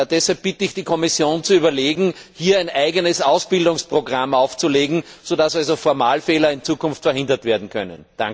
Deshalb bitte ich die Kommission zu überlegen, hier ein eigenes Ausbildungsprogramm aufzulegen, sodass solche Formalfehler in Zukunft verhindert werden können.